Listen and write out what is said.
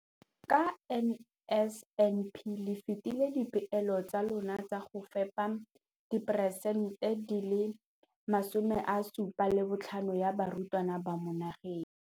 Ka NSNP le fetile dipeelo tsa lona tsa go fepa 75 percent ya barutwana ba mo nageng.